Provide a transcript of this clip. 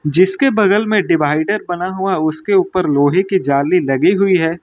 जिसके बगल में डिवाइडर बना हुआ उसके ऊपर लोहे की जाली लगी हुई है।